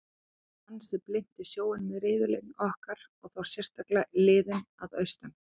Við runnum ansi blint í sjóinn með riðillinn okkar og þá sérstaklega liðin að austan.